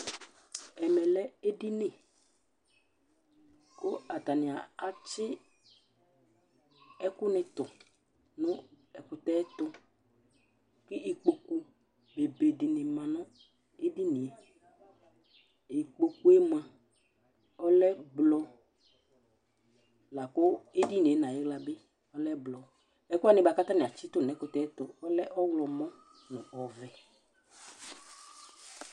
Ɛmɛlɛ ɛɖìní kʋ ataŋi atsi ɛku ni ɛɖinɛɖi tu ŋu ɛkʋtɛ tu kʋ ikpoku obe ɖìŋí ma ŋu ɛɖìníe Ikpokue mʋa ɔlɛ blɔ ɛɖìníe ŋu ayiɣla bi ɔlɛ blɔ Ɛkʋɛ bʋakʋ ataŋi atsitu ŋu ɛkʋtɛ ɛtu ɔlɛ ɔwlɔmɔ ŋu ɔvɛ